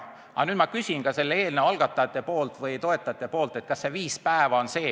Aga nüüd ma küsin toetajate nimel, kas viis päeva on see ...